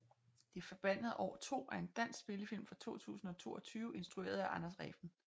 De forbandede år 2 er en dansk spillefilm fra 2022 instrueret af Anders Refn